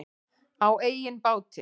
Á eigin báti.